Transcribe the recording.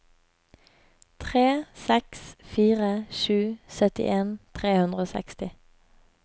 tre seks fire sju syttien tre hundre og seksti